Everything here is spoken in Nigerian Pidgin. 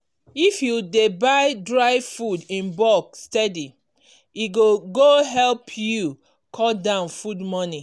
if you dey buy dry food in bulk steady e go go help you cut down food money.